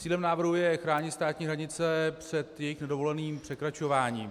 Cílem návrhu je chránit státní hranice před jejich nedovoleným překračováním.